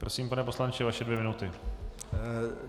Prosím, pane poslanče, vaše dvě minuty.